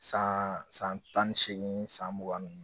San san tan ni seegin san mugan ni